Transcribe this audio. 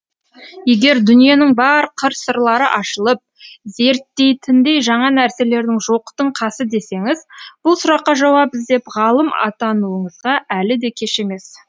егер дүниенің бар қыр сырлары ашылып зерттейтіндей жаңа нәрселердің жоқтың қасы десеңіз бұл сұраққа жауап іздеп ғалым атануыңызға әлі де кеш емес